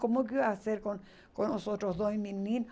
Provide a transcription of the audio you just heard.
Como que eu ia fazer com os outros dois meninos?